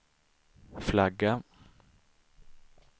flagga